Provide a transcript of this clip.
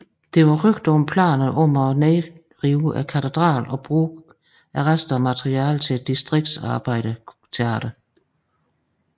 Der var rygter om planer om at nedrivne katedralen og bruge det resterende materiale til et distriktsarbejderteater